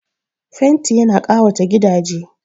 Fenti ya na ƙawata gidaje